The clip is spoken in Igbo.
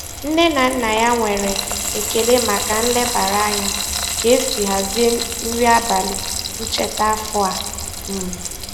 Nne na nna ya nwere ekele maka nlebara anya ka esi hazie nri abalị ncheta afọ a. um